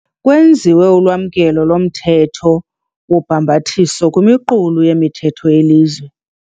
Kwenziwe ulwamkelo lomthetho wobhambathiso kwimiqulu yemithetho yelizwe.